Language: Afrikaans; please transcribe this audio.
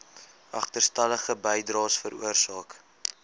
agterstallige bydraes veroorsaak